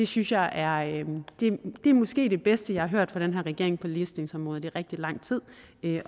synes jeg måske er det bedste jeg har hørt fra den her regering på ligestillingsområdet i rigtig lang tid